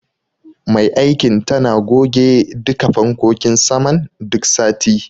Mai aikin tana goge duka fankokin saman duk sati.